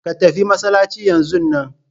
Ka tafi masallaci yanzun nan!